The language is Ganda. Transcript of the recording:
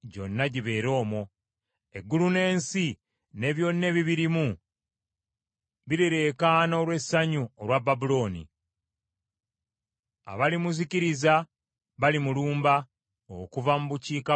Eggulu n’ensi ne byonna ebibirimu birireekana olw’essanyu olwa Babulooni, abalimuzikiriza balimulumba okuva mu bukiikakkono,” bw’ayogera Mukama .